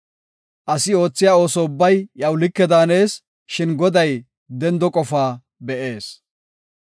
Asi oothiya ooso ubbay iyaw like daanees; shin Goday dendo qofaa be7ees.